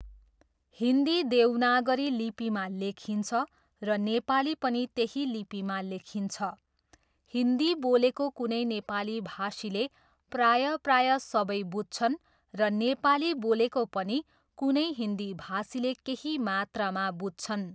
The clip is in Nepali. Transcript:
हिन्दी देवनागरी लिपिमा लेखिन्छ र नेपाली पनि त्यही लिपिमा लेखिन्छ। हिन्दी बोलेको कुनै नेपाली भाषीले प्रायः प्रायः सबै बुझ्छन् र नेपाली बोलेको पनि कुनै हिन्दी भाषीले केही मात्रामा बुझ्छन्।